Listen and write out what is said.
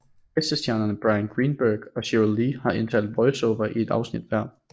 Gæstestjernerne Bryan Greenberg og Sheryl Lee har indtalt voiceover i et afsnit hver